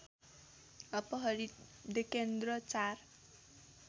अपहरित डेकेन्द्र चार